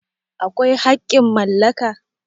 akwai haƙƙin mallaka?